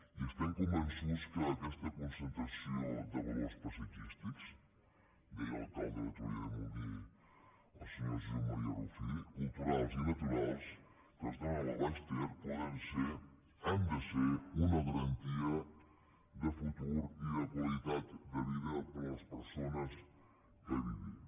i estem convençuts que aquesta concentració de valors paisatgístics deia l’alcalde de torroella de montgrí el senyor josep maria rufí culturals i natu·rals que es donen al baix ter poden ser han de ser una garantia de futur i de qualitat de vida per a les persones que hi vivim